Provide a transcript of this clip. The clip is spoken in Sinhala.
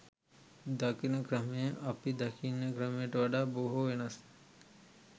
දකින ක්‍රමය අපි දකින ක්‍රමයට වඩා බොහෝ වෙනස්ය